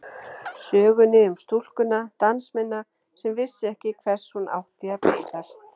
Sögunni um stúlkuna, dansmeyna sem vissi ekki hvers hún átti að beiðast.